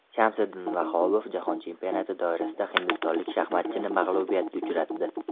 Shamsiddin Vahobov jahon chempionati doirasida hindistonlik shaxmatchini mag‘lubiyatga uchratdi.